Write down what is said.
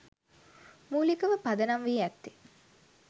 මූලිකව පදනම්වී ඇත්තේ